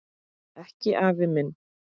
Ekki afi minn.